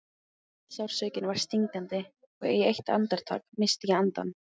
Sársaukinn var stingandi og eitt andartak missti ég andann.